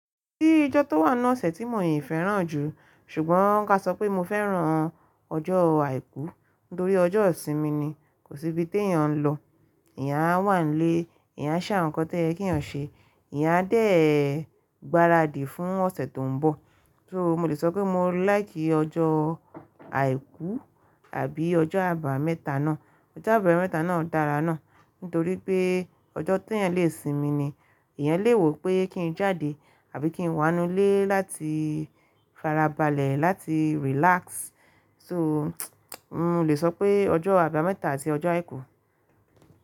Kíni ojo tó wà ninu osẹ̀ tí mò yín fẹ́ràn jù, ṣùgbọ́n ka sọ pé mo fẹ́ràn ọjọ́ àìkú nítorí ọjọ́ ìsinmi ni, kò síbi tí èèyàn ń lọ, eeyáń a wà nílé, ìyá ń ṣà nnkán tí ẹ keeyàn ṣe, eeyán a dẹ̀ gbáradì fún ọ̀sẹ̀ tó ń bọ̀. So mo lè sọ pé mo láìkì ọjọ́ àìkú àbí ọjọ́ àbámẹ́ta náà. Ọjọ́ àbámẹ́ta náà dára náà nítorí pé ọjọ́ tí èèyàn lè sinmi ni, èèyàn lè wò pé kí n jáde àbí kí n wá nú ilé láti farabalẹ̀, láti relax. So mò lè sọ pé ọjọ́ àbámẹ́ta àti ọjọ́ àìkú.